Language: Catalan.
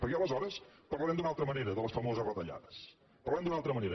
perquè aleshores parlarem d’una altra mane ra de les famoses retallades parlarem d’una altra ma nera